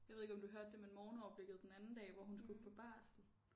Jeg ved ikke om du hørte det men morgenoverblikket den anden dag hvor hun skulle på barsel